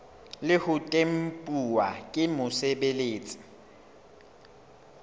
le ho tempuwa ke mosebeletsi